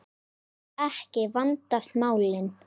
Ef ekki, þá vandast málin.